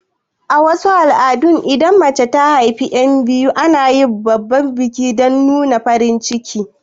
A wasu al'adun idan mace ta haifi yan biyu ana yin babban biki dan nuna farin cikin